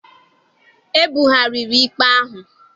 E bugharịrị ikpe ahụ.